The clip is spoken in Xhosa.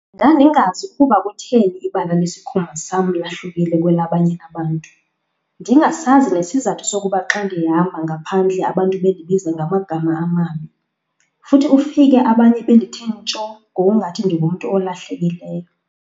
"Ndandingazi ukuba kutheni ibala lesikhumba sam lahlukile kwelabanye abantu, ndingasazi nesizathu sokuba xa ndihamba ngaphandle abantu bendibiza ngamagama amabi futhi ufike abanye bendithe ntsho ngokungathi ndingumntu olahlekileyo."